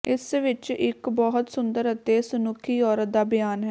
ਇਸ ਵਿੱਚ ਇੱਕ ਬਹੁਤ ਸੁੰਦਰ ਅਤੇ ਸੁਨੱਖੀ ਔਰਤ ਦਾ ਬਿਆਨ ਹੈ